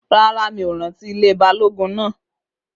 Rárá, mi ò rántí ilé Balógun náà